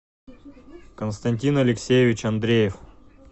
константин алексеевич андреев